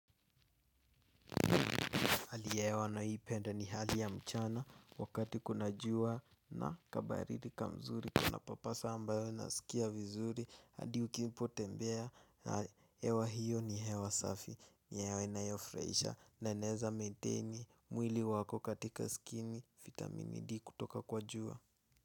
Hali ya hewa naipenda ni hali ya mchana wakati kuna jua na kabaridi kamzuri Kunapapasa ambayo inasikia vizuri hadi ukipotembea na hewa hiyo ni hewa safi hewa inayofurahisha na inaeza maintain mwili wako katika skini, vitamini D kutoka kwa jua.